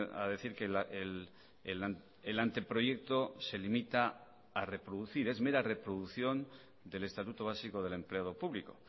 a decir que el anteproyecto se limita a reproducir es mera reproducción del estatuto básico del empleado público